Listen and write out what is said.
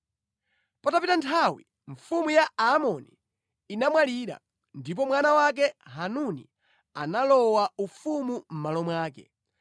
Patapita nthawi, mfumu ya Aamoni inamwalira, ndipo mwana wake Hanuni analowa ufumu mʼmalo mwake.